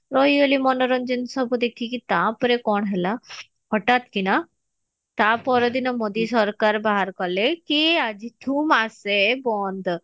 ରହିଗଲି ମନୋରଞ୍ଜନ ସବୁ ଦେଖିକି ତାପରେ କଣ ହେଲା ହଠାତ କିନା ତପର ଦିନ ମୋଦୀ ସରକାର ବାହାର କଲେ କି ଆଜିଠୁ ମାସେ ବନ୍ଦ